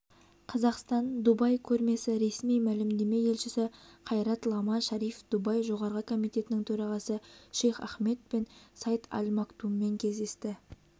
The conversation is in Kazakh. қазақстан дубай көрмесі ресми мәлімдеме елшісі қайрат лама шариф дубай жоғарғы комитетінің төрағасы шейх ахмед бен саид аль мактуммен кездесті